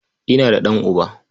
Ina da ɗan'uba.